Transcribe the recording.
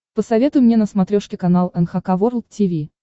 посоветуй мне на смотрешке канал эн эйч кей волд ти ви